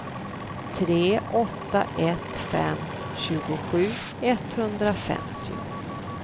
tre åtta ett fem tjugosju etthundrafemtio